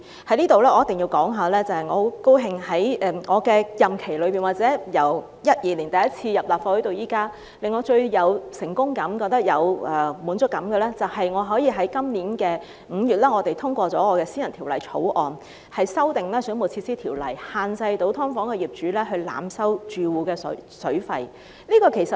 我在此一定要說，我十分高興在我的任期內，或者由2012年第一次進入立法會至今，令我最有成功感、覺得有滿足感的，便是可以在今年5月通過我提出的私人法案，修訂《水務設施條例》，限制"劏房"業主濫收住戶水費。